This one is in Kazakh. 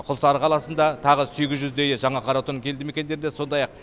құлсары қаласында тағы сегіз жүздейі жаңа қаратүп елді мекендерінде сондай ақ